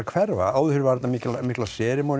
hverfa áður var mikil